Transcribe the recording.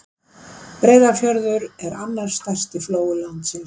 Breiðafjörður er annar stærsti flói landsins.